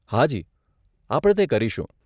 હા જી, આપણે તે કરીશું.